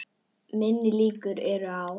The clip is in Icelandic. Minni líkur eru á